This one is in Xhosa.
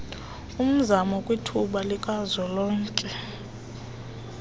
mzamo kwithuba likazwelonke